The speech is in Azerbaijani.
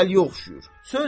Dəliyə oxşayır.